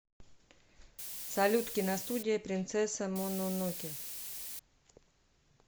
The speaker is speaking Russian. салют киностудия принцесса мононоке